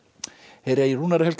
heyra í Rúnari Helga